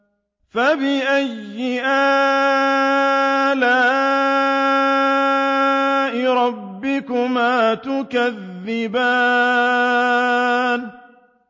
فَبِأَيِّ آلَاءِ رَبِّكُمَا تُكَذِّبَانِ